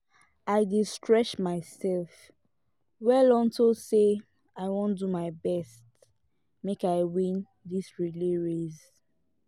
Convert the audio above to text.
i dey stretch myself well unto say i wan do my best make i win dis relay race